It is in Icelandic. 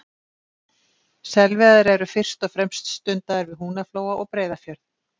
Selveiðar eru fyrst og fremst stundaðar við Húnaflóa og Breiðafjörð.